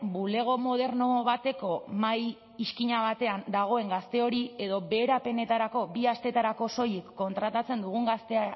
bulego moderno bateko mahai iskina batean dagoen gazte hori edo beherapenetarako bi asteetarako soilik kontratatzen dugun